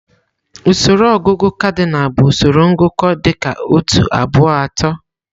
Usoro ọgụgụ kadịnal bụ usoro ngụkọ dị ka otu, abụọ, atọ.